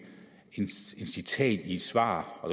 citat i et svar og